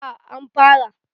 A an fara